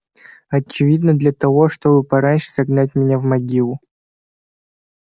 очевидно для того чтобы пораньше загнать меня в могилу